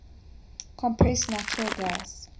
compressed natural gas